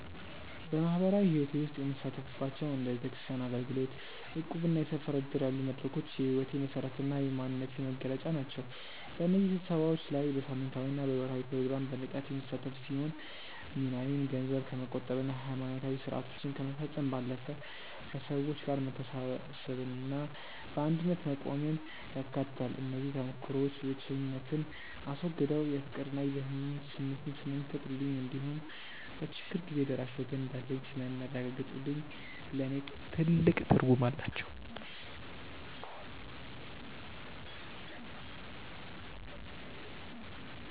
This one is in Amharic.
በማኅበራዊ ሕይወቴ ውስጥ የምሳተፍባቸው እንደ ቤተክርስቲያን አገልግሎት፣ እቁብና የሰፈር ዕድር ያሉ መድረኮች የሕይወቴ መሠረትና የማንነቴ መገለጫ ናቸው። በእነዚህ ስብሰባዎች ላይ በሳምንታዊና በወርኃዊ ፕሮግራም በንቃት የምሳተፍ ሲሆን፣ ሚናዬም ገንዘብ ከመቆጠብና ሃይማኖታዊ ሥርዓቶችን ከመፈጸም ባለፈ፣ ከሰዎች ጋር መተሳሰብንና በአንድነት መቆምን ያካትታል። እነዚህ ተሞክሮዎች ብቸኝነትን አስወግደው የፍቅርና የደህንነት ስሜት ስለሚፈጥሩልኝ እንዲሁም በችግር ጊዜ ደራሽ ወገን እንዳለኝ ስለሚያረጋግጡልኝ ለእኔ ትልቅ ትርጉም አላቸው።